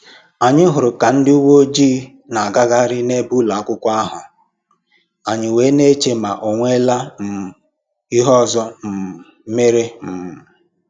Anyị hụrụ ka ndị uwe ojii na-agagharị n'ebe ụlọakwụkwọ ahụ, anyị wee na-eche ma onwela um ihe ọzọ um mere um